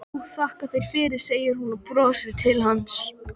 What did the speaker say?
Jú þakka þér fyrir, segir hún og brosir til hans.